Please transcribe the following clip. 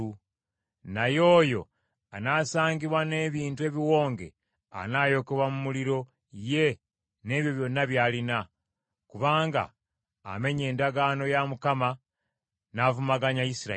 Naye oyo anaasangibwa n’ebintu ebiwonge anaayokebwa mu muliro ye n’ebyo byonna by’alina, kubanga amenye endagaano ya Mukama n’avumaganya Isirayiri.’ ”